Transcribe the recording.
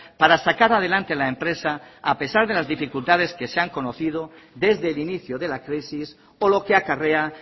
para sacar adelante la empresa a pesar de las dificultades que se han conocido desde el inicio de la crisis o lo que acarrea